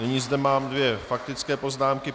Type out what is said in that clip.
Nyní zde mám dvě faktické poznámky.